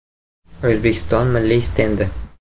O‘zbekiston milliy stendi.